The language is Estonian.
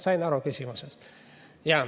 Sain aru küsimusest.